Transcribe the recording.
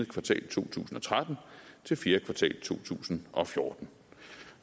kvartal to tusind og tretten til fjerde kvartal to tusind og fjorten